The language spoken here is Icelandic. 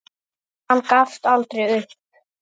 En hann gafst aldrei upp.